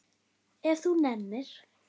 Ef þú nennir.